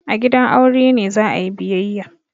A gidan aure ne za a yi biyayya.